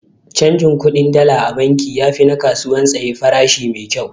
Canjin kuɗin Dala a banki yafi na kasuwan tsaye farashi maikyau.